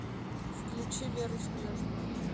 включи веру снежную